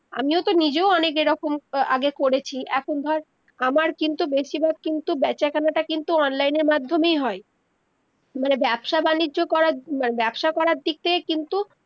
আমিও তো নিজেও অনেক এরকম আগে করেছি এখন ধর আমার কিন্তু বেশিভাগ কিন্তু বেচা কেনাটা কিন্তু online এর মাধ্যমেই হয় মানে ব্যবসা বাণিজ্য করা ব্যবসা করা দিক থেকে কিন্তু